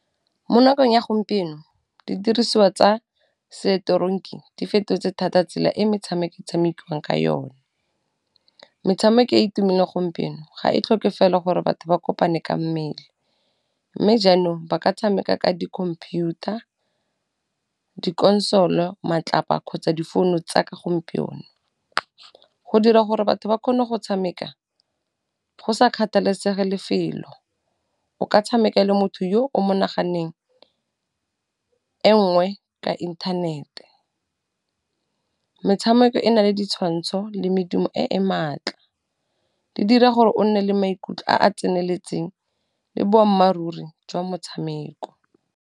Mo nakong ya gompieno di dirisiwa tsa seteronki di fetotse thata tsela e metshameko e tshamekiwang ka yone, metshameko e itumelele gompieno ga e tlhoke fela gore batho ba kopane ka mmele, mme jaanong ba ka tshameka ka di-computer, dikonsolo , matlapa , kgotsa difounu tsa ka gompieno. Go dira gore batho ba kgone go tshameka, go sa kgathalesege lefelo, o ka tshameka le motho yo o mo naganneng e nngwe ka inthanete. Metshameko e na le ditshwantsho le medumo e e maatla, di dira gore o nne le maikutlo a a tseneletseng le boammaaruri jwa motshameko.